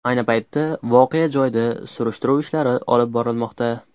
Ayni paytda voqea joyida tekshiruv ishlari olib borilmoqda.